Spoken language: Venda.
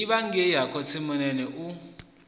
livha ngei ha khotsimunene u